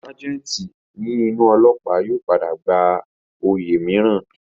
Ságẹ̀ǹtì ní inú ólọ́ọ̀pá yóò padà gba oyè mìíràn